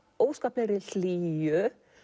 óskaplegri hlýju